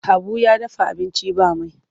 Habu ya dafa abinci ba mai.